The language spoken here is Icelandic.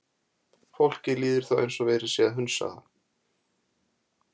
Fólki líður þá eins og verið sé að hunsa það.